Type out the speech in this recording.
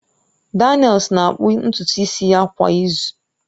Daniels na-akpụ ntutu isi ya kwa izu